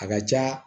A ka ca